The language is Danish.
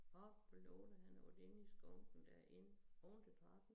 Op på loftet hen over derinde i skunken dér inde oven til trappen